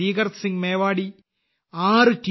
ദീകർ സിംഗ് മേവാടി ആറ് ടി